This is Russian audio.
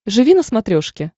живи на смотрешке